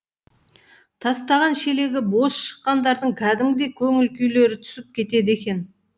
тастаған шелегі бос шыққандардың кәдімгідей көңіл күйлері түсіп кетеді екен